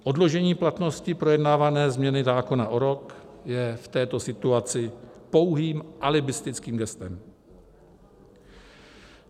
Odložení platnosti projednávané změny zákona o rok je v této situaci pouhým alibistickým gestem.